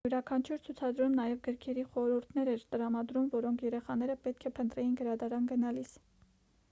յուրաքանչյուր ցուցադրում նաև գրքերի խորհուրդներ էր տրամադրում որոնք երեխաները պետք է փնտրեին գրադարան գնալիս